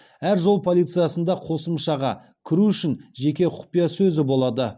әр жол полициясында қосымшаға кіру үшін жеке құпия сөзі болады